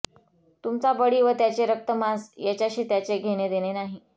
तुमचा बळी व त्याचे रक्तमांस याच्याशी त्याचे घेणेदेणे नाही